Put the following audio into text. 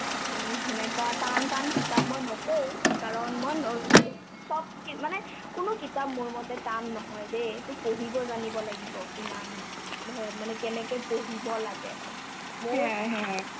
উম সেনেকুৱা টান টান কিতাপ মই নকও কাৰণ মই নৰচোক চব কিত মানে কোনো কিতাপ মোৰ মতে টান নহয় দেই এইটো পঢ়িব জানিব লাগিব ইমান hai মানে কেনেকে পঢ়িব লাগে মই সেয়াই